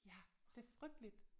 Ja det frygteligt